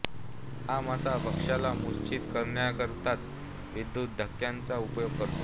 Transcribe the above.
हा मासा भक्ष्याला मूर्च्छित करण्याकरिताच विद्युत् धक्क्यांचा उपयोग करतो